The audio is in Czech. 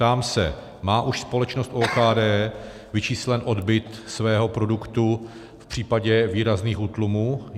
Ptám se: Má už společnost OKD vyčíslen odbyt svého produktu v případě výrazných útlumů?